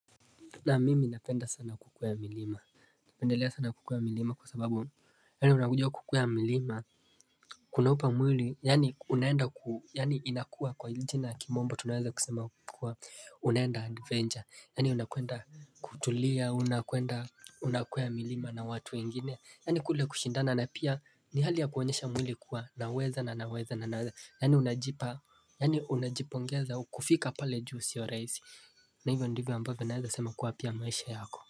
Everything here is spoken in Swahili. Na mimi napenda sana kukwea milima napendelea sana kukwea milima kwa sababu Yaani unakuja kukwea milima Kunaupa mwili yaani unaenda yaani inakua kwa jina ya kimombo tunaweza kusema kukua unaenda adventure yaani unakwenda kutulia unakwenda unakwea milima na watu wengine yaani kule kushindana na pia ni hali ya kuonyesha mwili kuwa naweza na naweza na naweza Yaani unajipongeza kufika pale juu sio rahisi na hivyo ndivyo ambavyo naeza sama kuwa pia maisha yako.